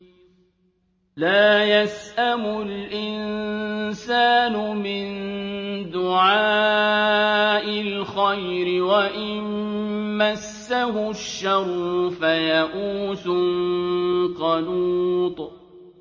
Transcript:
لَّا يَسْأَمُ الْإِنسَانُ مِن دُعَاءِ الْخَيْرِ وَإِن مَّسَّهُ الشَّرُّ فَيَئُوسٌ قَنُوطٌ